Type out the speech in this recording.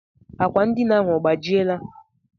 Akwa ndina ahụ ọ gbajiela?